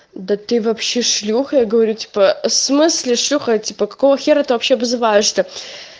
да ты вообще шлюха я говорю типа смысле шлюха я типа какого хера ты вообще обзываешься то